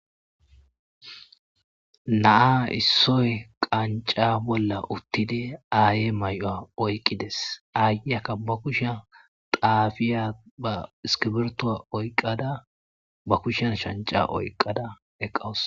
Na7a issoy qancca bolla uththidi aayee may7uwa oyqqi des; aayiyakka ba kushiyan xaafiyaaba iskkibirththuwa oykkada ba kushiyan shanccaa oykkada eqqawus.